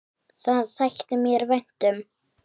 Það þætti mér vænt um